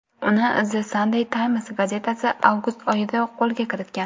Uni The Sunday Times gazetasi avgust oyidayoq qo‘lga kiritgan.